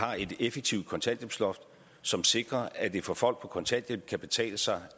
har et effektivt kontanthjælpsloft som sikrer at det for folk på kontanthjælp kan betale sig